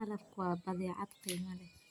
Malabku waa badeecad qiimo leh.